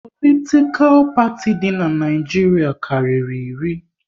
Politikal parti di n'Naijiria karịrị iri